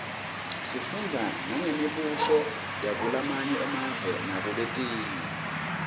sifundza nangembuso yakulamanye emave naletinye